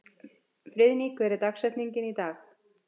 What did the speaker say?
Friðný, hver er dagsetningin í dag?